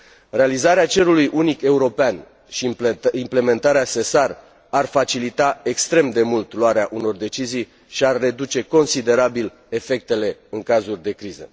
Realizarea cerului unic european și implementarea SESAR ar facilita extrem de mult luarea unor decizii și ar reduce considerabil efectele în cazuri de criză.